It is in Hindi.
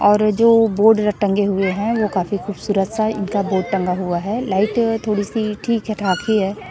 और ए जो बोड र टंगे हुए हैं ओ काफी खूबसूरत सा इनका बोड टंगा हुआ है लाइट थोड़ी सी ठीक है ठाक ही है।